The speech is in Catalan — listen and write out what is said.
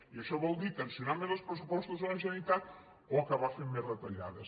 i això vol dir tensionar més els pressupostos de la generalitat o acabar fent més retallades